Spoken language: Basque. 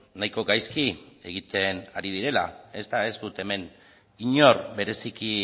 nahiko gaizki egiten ari direla eta ez dut hemen inor bereziki